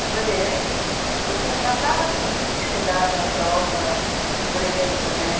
No Bandeirantes, você não bastava, assim, estudar para a prova, por exemplo, né?